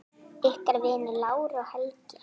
Ykkar vinir, Lára og Helgi.